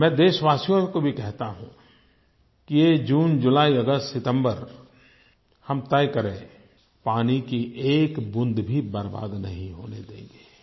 मैं देशवासियों को भी कहता हूँ कि ये जून जुलाई अगस्त सितम्बर हम तय करें पानी की एक बूँद भी बर्बाद नहीं होने देंगे